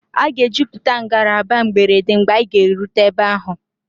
A ga-ejupụta ngalaba mberede mgbe anyị ga-erute ebe ahụ.